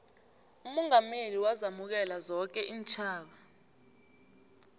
umongameli wazamukela zonke iintjhaba